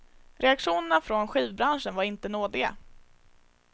Reaktionerna från skivbranschen var inte nådiga.